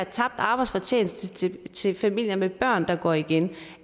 tabt arbejdsfortjeneste til til familier med børn der går igen